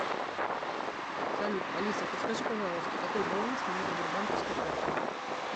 салют алиса подскажи пожалуйста какой баланс моей сбербанковской карты